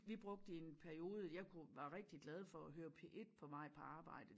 Vi brugte i en periode jeg kunne var rigtig glad for at høre P1 på vej på arbejde